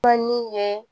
ye